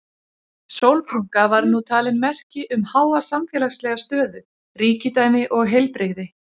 Sólbrúnka var nú talin merki um háa samfélagslega stöðu, ríkidæmi og heilbrigði.